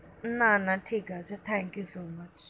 না না ঠিক আছে, thank you so much,